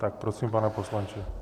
Tak prosím, pane poslanče.